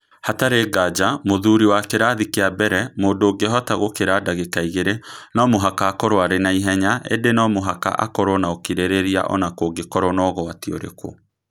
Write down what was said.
Hatarĩ nganja, mũthuri wa kĩrathi kĩa mbere, mũndũ ũngĩhota gũkĩra ndagĩka igĩrĩ, no mũhaka akorũo arĩ na ihenya, ĩndĩ no mũhaka akorũo na ũkirĩrĩria o na kũngĩkorũo na ũgwati ũrĩkũ.